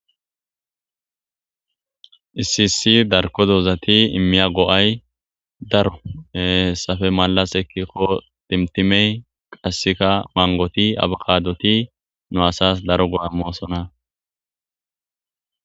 Issi issi dan'o doozati iimiya go'ay daaro dumma dumma timatimeti manggoti daaro go'oa immossona.